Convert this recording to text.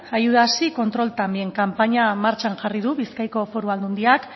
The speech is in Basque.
ayudas sí control también kanpaina martxan jarri du bizkaiko foru aldundiak